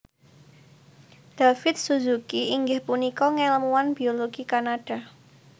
David Suzuki inggih punika ngèlmuwan biologi Kanada